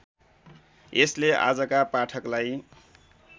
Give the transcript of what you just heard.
यसले आजका पाठकलाई